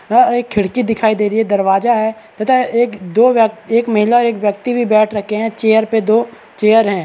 यह एक खिड़की दिखाई दे रही है एक दरवाजा है एक महिला बैठ रखे है एक चेयर पे दो चेयर है।